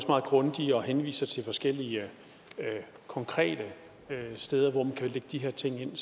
meget grundige og henviser til forskellige konkrete steder hvor man kan lægge de her ting ind